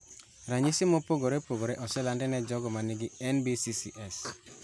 Ranyisi mopogore opogore oselandi ne jogo manigi NBCCS